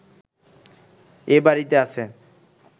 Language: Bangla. এ বাড়িতে আছে